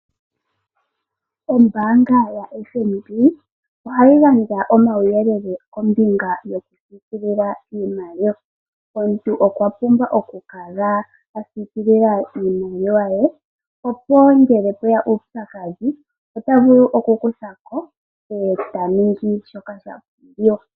Ombanga yaFNB ohayi gandja omawuyelele kombinga yoku sikilila iimaliwa. Omuntu okwa pumbwa oku kala a sikilila iimaliwa ye opo ngele mpweya uupyakadhi ota vulu oku kuthako eta ningi shoka sha pumbiwa.